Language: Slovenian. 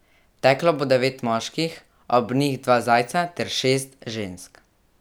Teklo bo devet moških, ob njih dva zajca ter šest žensk.